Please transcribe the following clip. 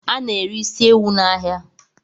Ana ere is ewu n'ahia